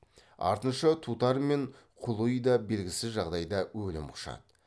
артынша тутар мен құли да белгісіз жағдайда өлім құшады